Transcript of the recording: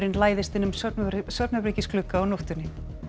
læðist inn um svefnherbergisglugga á nóttunni